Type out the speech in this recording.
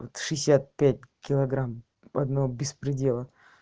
шестьдесят пять килограмм одного беспредела